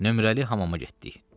Nömrəli hamama getdik.